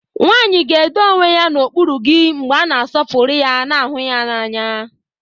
Nwanyị ga-edo onwe ya n'okpuru gị mgbe a na-asọpụrụ ya ma hụ ya n'anya.